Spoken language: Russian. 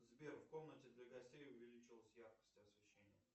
сбер в комнате для гостей увеличилась яркость освещения